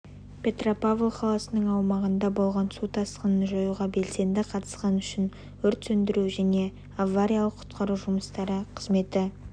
петропавл қаласының аумағында болған су тасқынын жоюға белсенді қатысқаны үшін өрт сөндіру және авариялық-құтқару жұмыстары қызметі